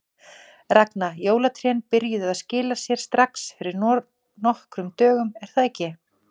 Ragna, jólatrén byrjuðu að skila sér strax fyrir nokkrum dögum er það ekki?